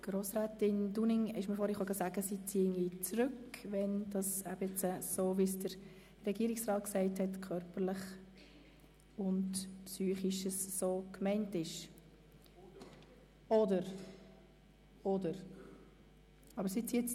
Grossrätin Dunning hat mir soeben gesagt, dass sie ihre Anträge zurückzieht, wenn «körperlich und psychisch» so gemeint ist, wie es Herr Regierungsrat Schnegg ausgeführt hat.